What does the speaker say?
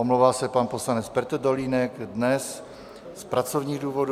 Omlouvá se pan poslanec Petr Dolínek dnes z pracovních důvodů.